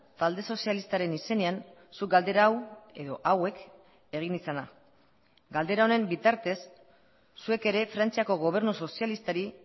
talde sozialistaren izenean zuk galdera hau edo hauek egin izana galdera honen bitartez zuek ere frantziako gobernu sozialistari